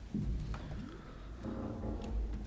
tak